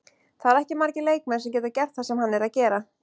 Það eru ekki margir leikmenn sem geta gert það sem hann er að gera.